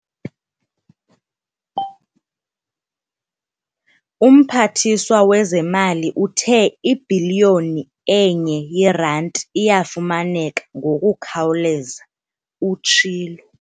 "UMphathiswa wezeMali uthe ibhiliyoni enye yeeranti iyafumaneka ngokukhawuleza," utshilo.